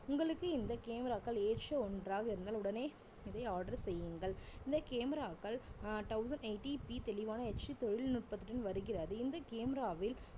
உங்களுக்கு இந்த camera க்கள் ஏற்ற ஒண்றாக இருந்தால் உடனே இதை order செய்யுங்கள் இந்த camera க்கள் ஆஹ் thousand eighty P தெளிவான HD தொழில்நுட்பத்துடன் வருகிறது இந்த camera வில்